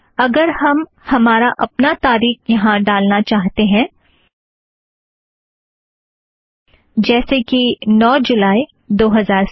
अगर हम हमारा अपना तारीख वहाँ ड़ालना चाहते हैं जैसे कि नौ जुलाई दो हज़ार साथ